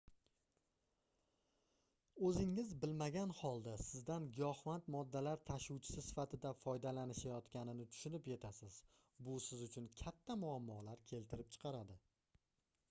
oʻzingiz bilmagan holda sizdan giyohvand moddalar tashuvchisi sifatida foydalanishayotganini tushunib yetasiz bu siz uchun katta muammolar keltirib chiqaradi